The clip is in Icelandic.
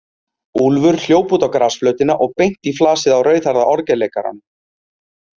Úlfur hljóp út á grasflötina og beint í flasið á rauðhærða orgelleikaranum.